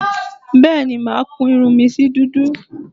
Bẹ́ẹ̀ni màá kun irun mi sí dúdú